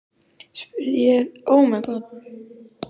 spurði ég þegar við nálguðumst hópinn.